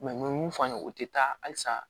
mun f'an ye o tɛ taa halisa